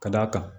Ka d'a kan